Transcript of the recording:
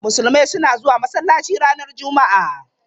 Musulmai suna zuwa masallaci ranar Juma'a.